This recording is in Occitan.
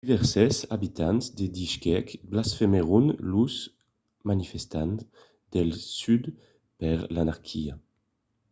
divèrses abitants de bishkek blasmèron los manifestants del sud per l'anarquia